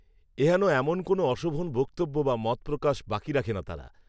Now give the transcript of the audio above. এ হেন এমন কোনো অশোভন বক্তব্য বা মত প্রকাশ বাকি রাখে না তারা